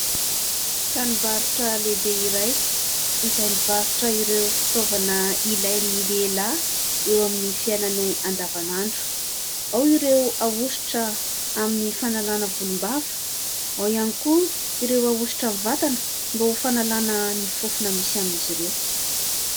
Tranom-barotra lehibe iray izay mivoritra ireo fitaovana ilain'ny lehilahy eo amin'ny fiainany andavanandro. Ao ireo ahositra amin'ny fanalana volom-bava. Ao ihany koa ireo ahositra amin'ny vatana mba ho fanalana ny fofona misy amin'izy ireo.